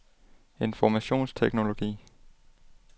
informationsteknologi